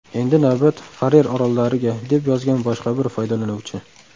Endi navbat Farer orollariga”, deb yozgan boshqa bir foydalanuvchi.